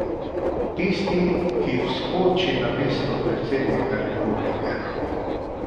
Tisti, ki vskoči namesto predsednika Republike.